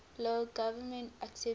lao government accepted